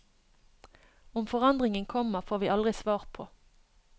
Om forandringen kommer, får vi aldri svar på.